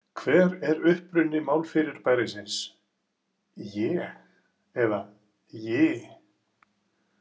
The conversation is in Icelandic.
Hver er uppruni málfyrirbærisins „je“ eða „ji“.